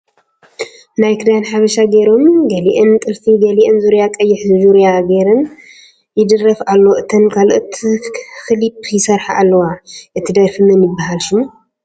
ናይ ክዳ ሓብሻ ጌሮም ገሊኣን ጥልፊ ግሊኣን ዙርያ ቀይሕ ዡርያ ጌሩ ይደርፍ ኣሎ እተን ካልኦት ኽሊፕ ይስርሓ ኣለዋ እቲ ድራፊ መን ይብሃል ሹሙ ?